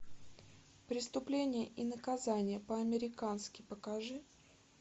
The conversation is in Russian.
преступление и наказание по американски покажи